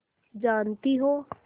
जानती हो